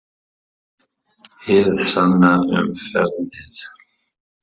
Hið sanna um faðernið?